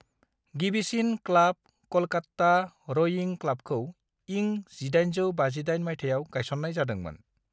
गिबिसिन क्लाब, कलकात्ता र'इं क्लाबखौ इं 1858 माइथायाव गायसन्नाय जादोंमोन।